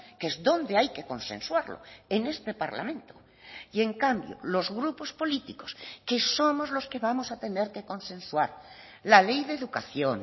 que es donde hay que consensuarlo en este parlamento y en cambio los grupos políticos que somos los que vamos a tener que consensuar la ley de educación